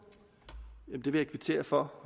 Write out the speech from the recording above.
slippe for